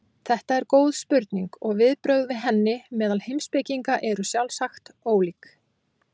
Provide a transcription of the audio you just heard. þetta er góð spurning og viðbrögð við henni meðal heimspekinga eru sjálfsagt ólík